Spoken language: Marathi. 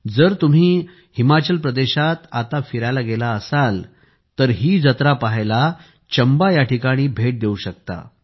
जर तुम्ही आत्ता हिमाचल प्रदेशात फिरायला गेला असाल तर ही जत्रा पाहायला चंबा येथे भेट देऊ शकता